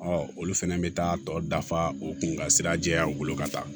olu fɛnɛ bɛ taa tɔ dafa u kun ka sira jɛya u bolo ka taa